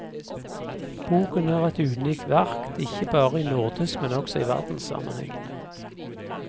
Boken er et unikt verk, ikke bare i nordisk, men også i verdenssammenheng.